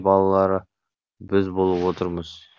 балалары біз болып отырмыз